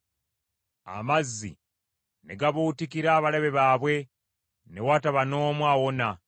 Amazzi ne gabuutikira abalabe baabwe; ne wataba n’omu awona.